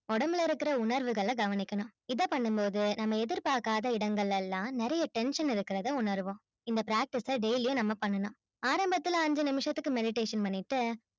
உடம்புல இருக்குற உணர்வுகள கவனிக்கணும் இத பண்ணும்போது நம்ம எதிர்பாக்காத இடங்கள் எல்லா நெறைய tension இருக்குறத உணர்வோம். இந்த practice அ daily நம்ம பண்ணனும். ஆரம்பத்துல ஐஞ்சு நிமிஷத்துக்கு meditation பண்ணிட்டு